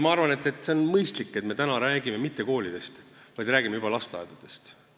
Ma arvan, et on mõistlik, et me ei räägi täna mitte koolidest, vaid räägime juba lasteaedadest.